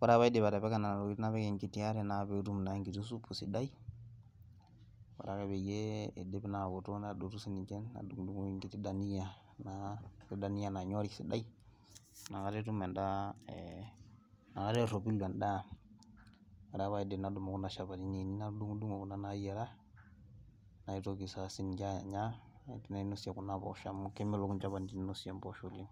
oree ake paidip atipika nena tokiting napik enkiti are naa petum naa enkiti supu sidai ore ake peyie eidip aoto nadotu nadungudungoki enkiti dania naa nanyori sidai nakata etum endaa nakata erropilu endaa oree ake paidip nadumu kuna shapatini ainei natudungudungo kuna naayiara natoki saa sininche anya nainosie kuna poosho amu kemelok inchapatini nainosieki impoosho oleng`